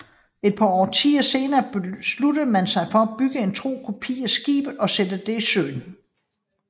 Et par årtier senere beslutter man sig for at bygge en tro kopi af skibet og sætte det i søen